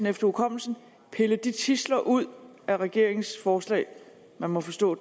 efter hukommelsen pille tidsler ud af regeringens forslag man må forstå